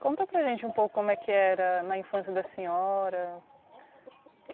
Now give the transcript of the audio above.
Conta para gente um pouco como é que era na infância da senhora.